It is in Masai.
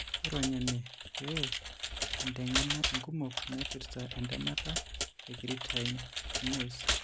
Ironya ene pee inteng'ena inkumok naipirta entemata ecreatine kinasee.